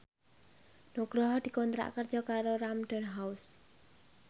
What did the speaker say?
Nugroho dikontrak kerja karo Random House